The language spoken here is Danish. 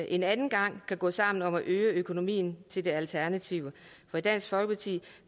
en anden gang at gå sammen om at øge økonomien til det alternative for i dansk folkeparti